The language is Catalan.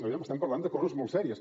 aviam estem parlant de coses molt serioses